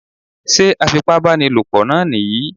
Sé afipábánilòpọ náà nìyí?